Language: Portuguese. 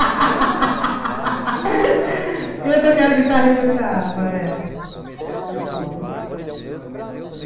Eu tocava guitarra e cantava, é. Você lembra uma música, assim, que marcou